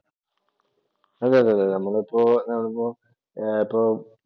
അതെതെതെ നമ്മളിപ്പോൾ നോക്കുമ്പോൾ ഇപ്പോൾ